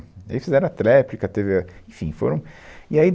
aí, Eles fizeram a tréplica, teve a, enfim, foram e aí